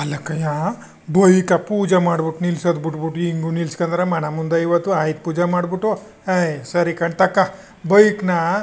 ಅಲ್ಲಕಯ್ಯಾ bike ಪೂಜೇ ಮಾಡ್ಬಿಟ್ಟು ನಿಲ್ಸದು ಬಿಟ್ಬಿಟ್ಟು ಇಂಗೂ ನಿಲ್ಸ್ಕದರ ಮನೆ ಮುಂದೆ ಇವತ್ತು ಆಯುಧ ಪೂಜೆ ಮಾಡ್ಬಿಟ್ಟು ಅಯ್ಯ ಸರಿಕನ್ ತಕ ಬೈಕ್ ನ --